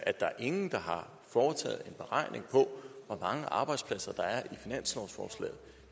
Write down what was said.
der er ingen der har foretaget en beregning af hvor mange arbejdspladser der er i finanslovsforslaget